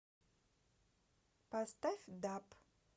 поставь даб